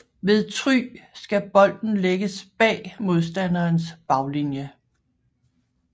Ved Try skal bolden lægges bag modstanderens baglinie